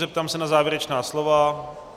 Zeptám se na závěrečná slova.